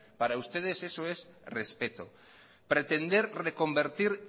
para ustedes eso es respeto pretender reconvertir